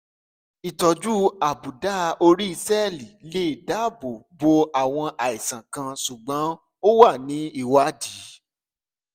ìtọ́jú àbùdá orí sẹẹli lè dáàbò bo àwọn àìsàn kan ṣùgbọ́n ó wà ní ìwádìí